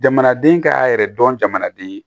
Jamanaden ka yɛrɛ dɔn jamanaden ye